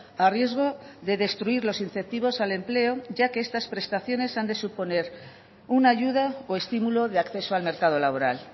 a riesgo de destruir los incentivos al empleo ya que estas prestaciones han de suponer una ayuda o estimulo de acceso al mercado laboral